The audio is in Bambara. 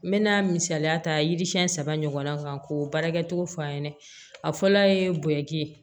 N bɛna misaliya ta yiri siɲɛ saba ɲɔgɔn na k'o baarakɛcogo fɔ a ɲɛna a fɔlɔ ye bonya di